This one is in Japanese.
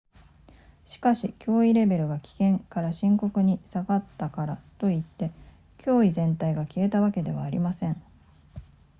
「しかし、脅威レベルが「危険」から「深刻」に下がったからといって脅威全体が消えたわけではありません」